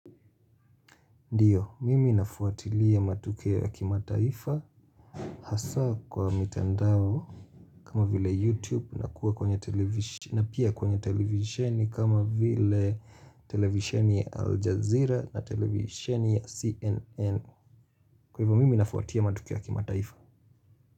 Ndiyo, mimi nafuatilia matukio ya kimataifa Hasa kwa mitandao kama vile YouTube na kuwa na pia kwenye televisheni kama vile televisheni ya Aljazeera na televisheni ya CNN Kwa hivyo, mimi nafuatilia matukio ya kimataifa.